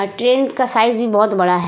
अ train का size भी बहुत बड़ा है।